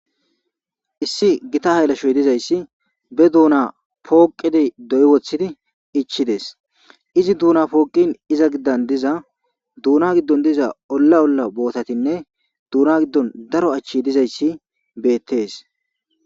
Issi gita haylashoy dizayssi be duuna pooqidi doy woththidi ichides izi duuna pooqin iza giddan diza duuna giddon diza olla olla bootatinne duuna giddon daro achchi dizayssi beettes.